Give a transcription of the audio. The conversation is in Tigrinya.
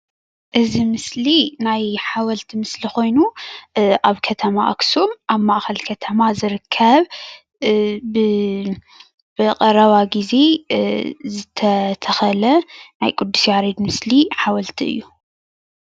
እዚ ምስሊ ናይ ሓወልቲ ምስሊ ኮይኑ ኣብ ከተማ ኣኽሱም ኣብ ማእኸል ከተማ ዝርከብ ብቐረባ ግዜ ዝተተኸለ ናይ ቅዱስ ያሬድ ምስሊ ሓወልቲ እዩ፡፡